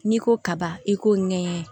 N'i ko kaba i k'o ŋɛɲɛ